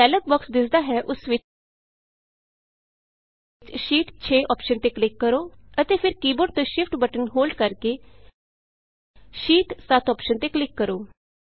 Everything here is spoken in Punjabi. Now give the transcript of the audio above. ਜੋ ਡਾਇਲੌਗ ਬੋਕਸ ਦਿੱਸਦਾ ਹੈ ਉਸ ਵਿਚ ਸ਼ੀਟ 6 ਅੋਪਸ਼ਨ ਤੇ ਕਲਿਕ ਕਰੋ ਅਤੇ ਫਿਰ ਕੀ ਬੋਰਡ ਤੋਂ ਸ਼ਿਫਟ ਸ਼ਿਫਟ ਬਟਨ ਹੋਲਡ ਕਰਕੇ ਸ਼ੀਟ 7 ਅੋਪਸ਼ਨ ਤੇ ਕਲਿਕ ਕਰੋ